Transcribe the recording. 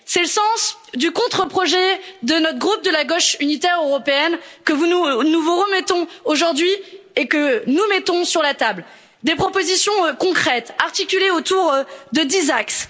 C'est le sens du contre projet de notre groupe de la Gauche unitaire européenne, que nous vous remettons aujourd'hui et que nous mettons sur la table des propositions concrètes articulées autour de dix axes.